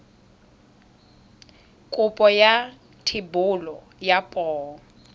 kopo ya thebolo ya poo